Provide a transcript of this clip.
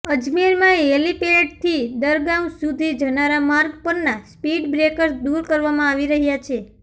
અજમેરમાં હેલીપેડથી દરગાહ સુધી જનારા માર્ગ પરના સ્પીડ બ્રેકર્સ દૂર કરવામાં આવી રહ્યા છે